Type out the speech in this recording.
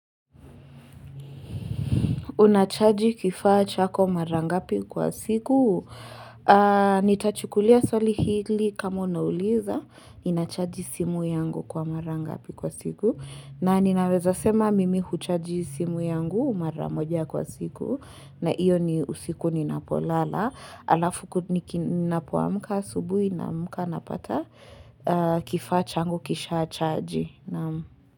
Unachaji kifacha kwa mara ngapi kwa siku. Nitachukulia swali hili kama unauliza. Inachaji simu yangu kwa mara ngapi kwa siku. Na ninaweza sema mimi kuchaji simu yangu mara moja kwa siku. Na iyo ni usiku ni napolala. Ala fuku ninapoamka subuhi namka napata kifacha ngu kisha achaji.